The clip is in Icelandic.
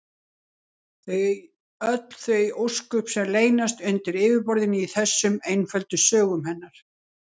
Öll þau ósköp sem leynast undir yfirborðinu í þessum einföldu sögum hennar!